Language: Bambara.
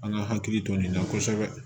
An ka hakili to nin na kosɛbɛ